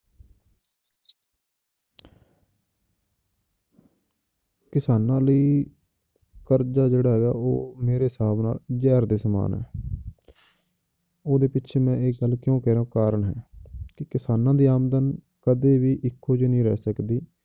ਕਿਸਾਨਾਂ ਲਈ ਕਰਜ਼ਾ ਜਿਹੜਾ ਹੈਗਾ ਉਹ ਮੇਰੇ ਹਿਸਾਬ ਨਾਲ ਜ਼ਹਿਰ ਦੇ ਸਮਾਨ ਹੈ ਉਹਦੇ ਪਿੱਛੇ ਮੈਂ ਇਹ ਗੱਲ ਕਿਉਂ ਕਹਿ ਰਿਹਾਂ ਕਾਰਨ ਹੈ ਕਿ ਕਿਸਾਨਾਂ ਦੀ ਆਮਦਨ ਕਦੇ ਵੀ ਇੱਕੋ ਜਿਹੀ ਨਹੀਂ ਰਹਿ ਸਕਦੀ।